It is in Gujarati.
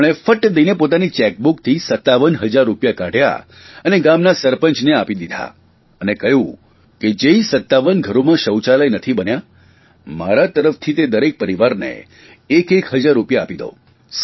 તેમણે ફટ્ટ દઇને પોતાની ચેકબૂકથી સત્તાવન હજાર રૂપિયા કાઢ્યા અને ગામના સરપંચને આપી દીધા અને કહ્યું કે જે 57 ઘરોમાં શૌચાલય નથી બન્યા મારા તરફથી તે દરેક પરિવારને એક એક હજાર રૂપિયા આપી દો